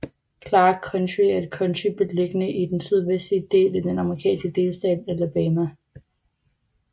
Clarke County er et county beliggende i den sydvestlige del af den amerikanske delstat Alabama